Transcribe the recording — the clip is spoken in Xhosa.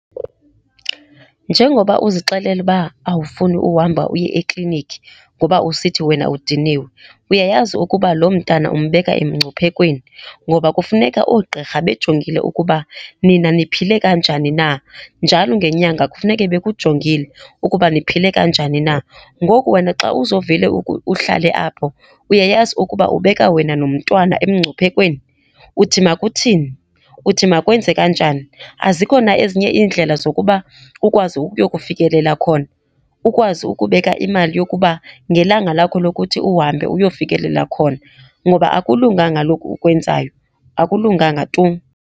Njengoba uzixelela uba awufuni uhamba uye eklinikhi ngoba usithi wena udiniwe, uyayazi ukuba loo mntana umbeka emngciphekweni, ngoba kufuneka oogqirha bejongile ukuba nina niphile kanjani na. Njalo ngenyanga kufuneke bekujongile ukuba niphile kanjani na. Ngoku wena xa uzovele uhlale apho, uyayazi ukuba ubeka wena nomntwana emngciphekweni? Uthi makuthini? Uthi makwenze kanjani? Azikho na ezinye iindlela zokuba ukwazi ukuyokufikelela khona? Ukwazi ukubeka imali yokuba ngelanga lakho lokuthi uhambe uyofikelela khona ngoba akulunganga lokhu ukwenzayo, akulunganga tu.